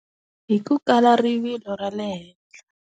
Hi ku kala rivilo ra le henhla.